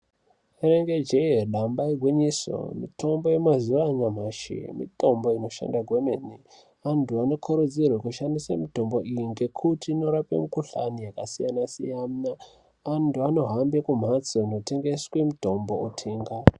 Rinenge jee damba igwinyiso mitombo yamazuwa anyamashi mitombo inoshanda kwemene, antu anokurudzirwe kushandise mitombo iyi ngekuti inorape mikuhlani yakasiyanasiyana antu anohambe kumhatso inotengese mitombo otenga.